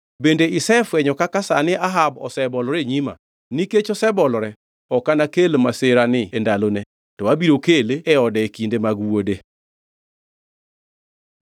“Bende isefwenyo kaka sani Ahab osebolore e nyima? Nikech osebolore, ok anakel masirani e ndalone, to abiro kele e ode e kinde mag wuode.”